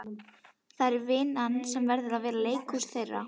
Það er vinn- an sem verður að vera leikhúsið þeirra.